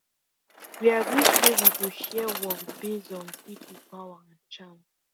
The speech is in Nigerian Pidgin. we agree say we go share work base on people power and chance